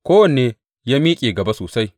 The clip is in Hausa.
Kowanne ya miƙe gaba sosai.